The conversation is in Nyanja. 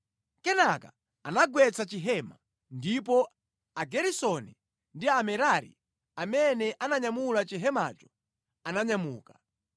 Kenaka anagwetsa chihema, ndipo Ageresoni ndi Amerari amene ananyamula chihemacho, ananyamuka.